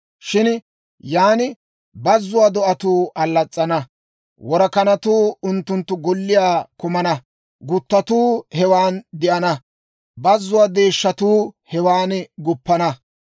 Shin yan bazzuwaa do'atuu allas's'ana. Worakanatuu unttunttu golliyaa kumana; gutattuu hewan de'ana; bazzuwaa deeshshatuu hewan guppana.